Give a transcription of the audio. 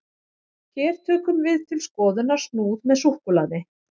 hér tökum við til skoðunar snúð með súkkulaði